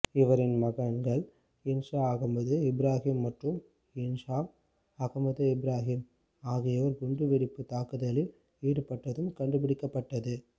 இவரின் மகன்கள் இன்சாப் அஹமது இப்ராஹிம் மற்றும் இல்ஹாம் அஹமது இப்ராஹிம் ஆகியோர் குண்டுவெடிப்பு தாக்குதலில் ஈடுப்பட்டதும் கண்டுபிடிக்கப்பட்டது